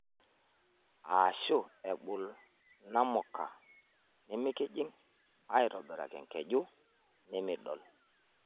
Aashu ebul namuka nemikijing' aitobiraki enkeju nemidol.